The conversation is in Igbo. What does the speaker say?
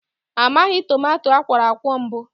A maghị tomato akwọrọakwọ mbụ